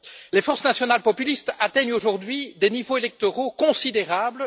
Les forces nationales populistes atteignent aujourd'hui des niveaux électoraux considérables.